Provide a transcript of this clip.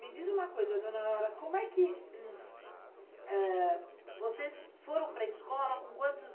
Me diz uma coisa, dona Aurora, como é que... Vocês foram para a escola com quantos anos?